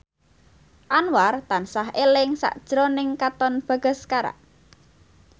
Anwar tansah eling sakjroning Katon Bagaskara